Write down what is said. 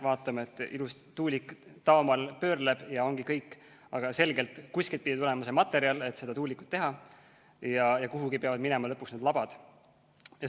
Vaatame, et ilus tuulik taamal pöörleb ja ongi kõik, aga kuskilt pidi tulema see materjal, millest seda tuulikut teha, ja kuhugi peavad minema lõpuks selle tuuliku labad.